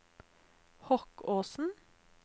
Hokkåsen